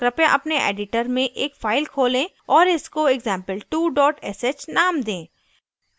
कृपया अपने editor में एक file खोलें और इसको example2 sh name दें